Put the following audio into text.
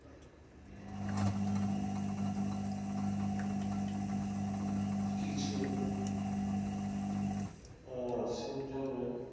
কিছু